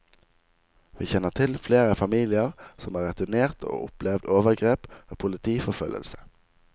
Vi kjenner til flere familier som har returnert og opplevd overgrep og politiforfølgelse.